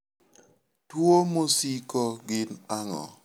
Tuwo masiko gin ang'o?